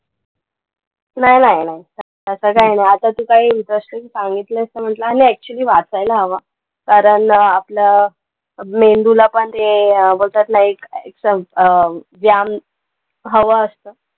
नाई नाई नाई. तसं काही नाई. आता तू काही व्यवस्थित सांगितलयंस तर म्हणलं आणि actually वाचायला हवं. कारण आपलं मेंदूला पण ते बोलतात ना, एक एक सं अं व्यायाम हवा असतं.